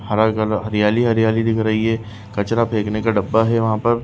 हरा कल हरियाली-हरियाली दिख रही है कचरा फेंकने का डब्बा है वहाँ पर।